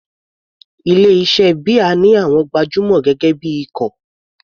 Ilé iṣẹ́ beer ní àwọn gbajúmọ̀ gẹ́gẹ́ bí ikọ̀.